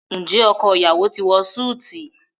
Njé ọkọ iyawo ti wọ Súìti?